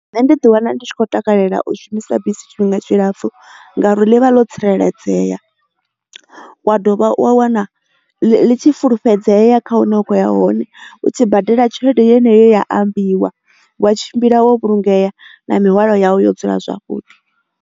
Nṋe ndi ḓi wana ndi tshi kho takalela u shumisa bisi tshifhinga tshilapfhu ngauri ḽivha ḽo tsireledzea, wa dovha wa wana ḽi tshi fulufhedzea kha hune vha khoya hone u tshi badela tshelede yeneyi yo ambiwa wa tshimbila wo vhulungea na mihwalo yawu yo dzula zwavhuḓi.